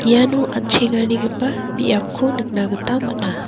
iano an·chengarigipa biapko nikna gita man·a.